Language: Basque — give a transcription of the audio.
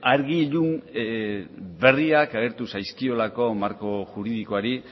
argi ilun berriak agertu zaizkiolako marko juridikoari